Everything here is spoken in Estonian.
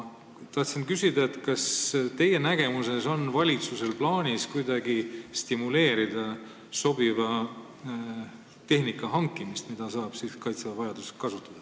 Tahtsin küsida, kas teie nägemuses on valitsusel plaanis kuidagi stimuleerida sobiva tehnika hankimist, mida Kaitsevägi saaks vajadusel kasutada.